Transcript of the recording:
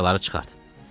Açarları çıxart!